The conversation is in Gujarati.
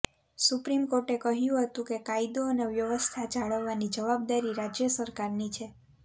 સુપ્રીમ કોર્ટે કહ્યું હતું કે કાયદો અને વ્યવસ્થા જાળવવાની જવાબદારી રાજ્ય સરકારની છે